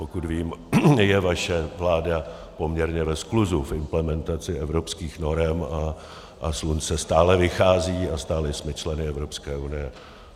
Pokud vím, je vaše vláda poměrně ve skluzu v implementaci evropských norem a slunce stále vychází a stále jsme členy Evropské unie.